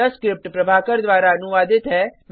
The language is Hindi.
यह स्क्रिप्ट प्रभाकर द्वारा अनुवादित है